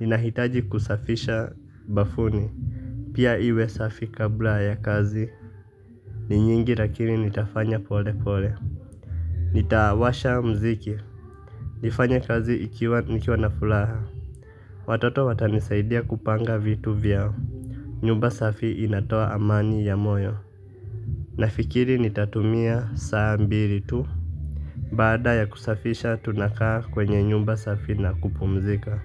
inahitaji kusafisha bafuni, pia iwe safi kabla ya kazi, ni nyingi lakini nitafanya pole pole. Nitawasha mziki. Nifanya kazi nikiwa na furaha. Watoto watanisaidia kupanga vitu vyao. Nyumba safi inatoa amani ya moyo. Nafikiri nitatumia saa mbili tu. Baada ya kusafisha tunakaa kwenye nyumba safi na kupumzika.